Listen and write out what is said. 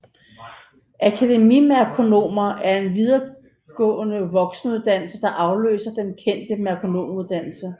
Akademimerkonomer en videregående voksenuddannelse der afløser den kendte merkonomuddannelse